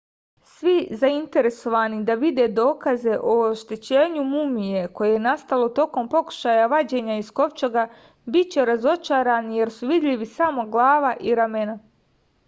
svi zainteresovani da vide dokaze o oštećenju mumije koje je nastalo tokom pokušaja vađenja iz kovčega biće razočarani jer su vidljivi samo glava i ramena